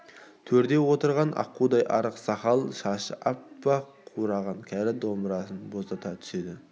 төрде отырған аққудай арық сақал-шашы аппақ қураған кәрі домбырасын боздата түседі